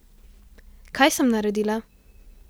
Kaj sem naredila?